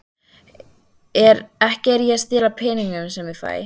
Ekki er ég að stela peningunum sem ég fæ.